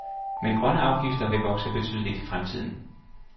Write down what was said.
Men grønne afgifter vil vokse betydeligt i fremtiden.